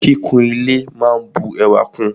Kíkún ile máa n bu ẹwà kún ùn.